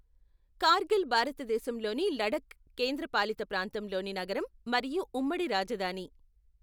కార్గిల్ భారతదేశంలోని లడఖ్ కేంద్రపాలిత ప్రాంతంలోని నగరం మరియు ఉమ్మడి రాజధాని.